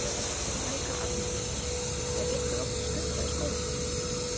Helga Arnardóttir: Er ykkur oft skutlað í skólann?